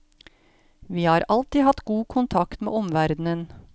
Vi har alltid hatt god kontakt med omverdenen.